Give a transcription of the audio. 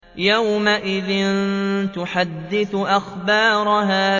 يَوْمَئِذٍ تُحَدِّثُ أَخْبَارَهَا